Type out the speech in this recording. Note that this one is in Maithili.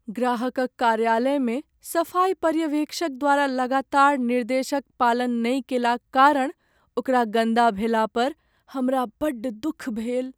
ग्राहकक कार्यालयमे सफाई पर्यवेक्षक द्वारा लगातार निर्देशक पालन नहि कएलाक कारण ओकरा गन्दा भेला पर हमरा बड्ड दुख भेल।